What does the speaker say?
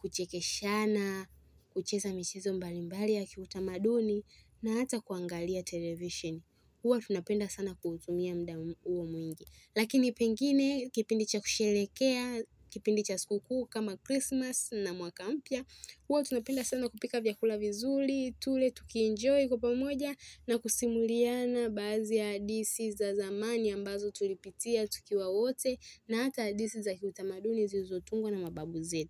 kuchekeshana, kucheza michezo mbali mbali ya kiutamaduni na hata kuangalia television. Huwa tunapenda sana kuutumia mda uwa mwingi. Lakini pengine kipindi cha kusherehekea, kipindi cha siku kuu kama Christmas na mwaka mpya. Huwa tunapenda sana kupika vyakula vizuri, tule, tukienjoy kwa pamoja na kusimuliana baadhi ya hadithi za zamani ambazo tulipitia tukiwa wote na hata hadithi za kiutamaduni zilizotungwa na mababu zetu.